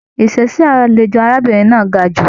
Ìṣe sí àlejò arábìnrin náà ga jù.